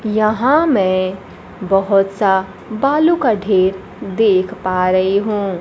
यहां मै बहोत सा बालू का ढेर देख पा रही हूं।